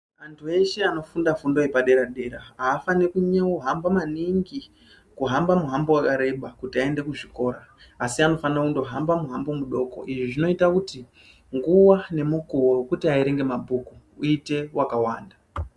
Antu veshe vanofunda fundo yepadera dera havafanira kunohamba manhingi, kuhamba mihambo yakareba kuti aende kuzvikora asi vanofanira kungohamba mihambo midoko izvo zvinoita kuti nguva nomukoho wokuti averenge mabhuku uite wakawanda.